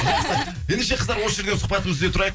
ендеше қыздар осы жерден сұхбатымызды үзе тұрайық